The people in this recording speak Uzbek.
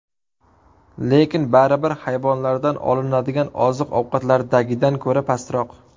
Lekin baribir hayvonlardan olinadigan oziq-ovqatlardagidan ko‘ra pastroq.